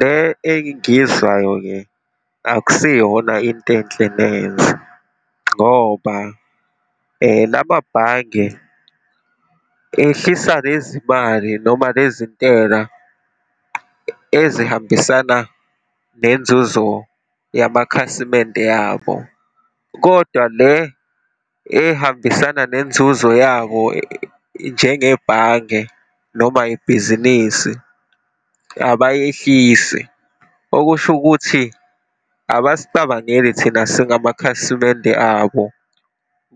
Le engiyizwayo-ke akusiyona into enhle nenze, ngoba lamabhange ehlisa lezimali, noma lezintela ezihambisana nenzuzo yamakhasimende yabo, kodwa le ey'hambisana nenzuzo yabo njengebhange, noma ibhizinisi abayehlisi. Okusho ukuthi abasicabangeli thina singamakhasimende abo,